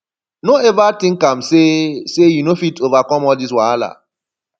no eva tink am sey sey you no fit overcome all dis wahala